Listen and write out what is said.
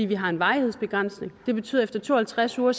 vi har en varighedsbegrænsning det betyder at efter to og halvtreds uger